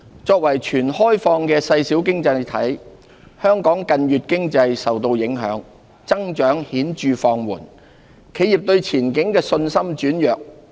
作為全開放的細小經濟體，香港近月經濟受到影響，增長顯著放緩，企業對前景的信心轉弱。